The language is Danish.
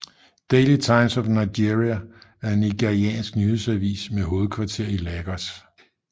Daily Times of Nigeria er en nigeriansk nyhedsavis med hovedkvarter i Lagos